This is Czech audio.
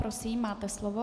Prosím, máte slovo.